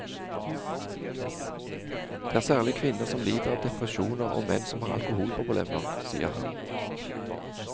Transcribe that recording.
Det er særlig kvinner som lider av depresjoner og menn som har alkoholproblemer, sier han.